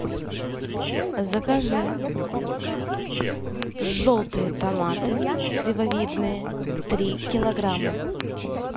закажи желтые томаты сливовидные три килограмма